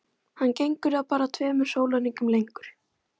Hann gengur þá bara tveimur sólarhringum lengur.